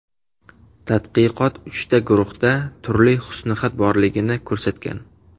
Tadqiqot uchta guruhda turli husnixat borligini ko‘rsatgan.